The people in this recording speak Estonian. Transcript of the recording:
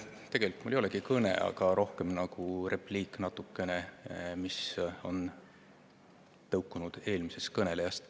Tegelikult mul ei olegi kõne, rohkem nagu repliik, mis on tõukunud eelmisest kõnelejast.